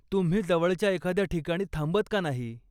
तुम्ही जवळच्या एखाद्या ठिकाणी थांबत का नाही?